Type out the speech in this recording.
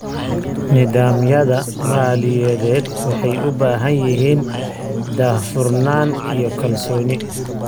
Nidaamyada maaliyadeed waxay u baahan yihiin daahfurnaan iyo kalsooni.